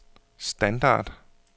standard